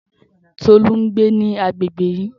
Tolú ń gbé ní agbègbè yìí